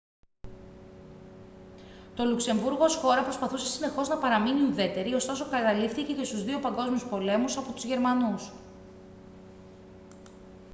το λουξεμβούργο ως χώρα προσπαθούσε συνεχώς να παραμείνει ουδέτερη ωστόσο καταλήφθηκε και στους δύο παγκόσμιους πολέμους από τους γερμανούς